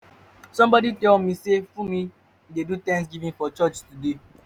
somebody tell me say funmi dey do thanksgiving for church today